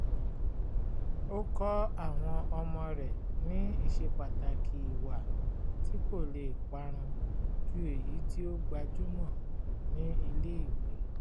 ó kọ́ àwọn ọmọ rẹ̀ ní ìṣepàtàkì ìwà tí kò lè parun ju èyí tí ó gbajúmọ̀ ní ilé-ìwé